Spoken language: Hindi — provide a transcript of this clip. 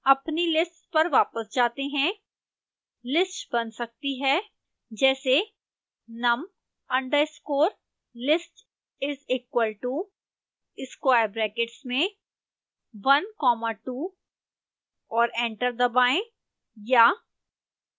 अपनी lists पर वापस जाते हैं list बन सकती है जैसे num underscore list is equal to square brackets में one comma two और एंटर दबाएं या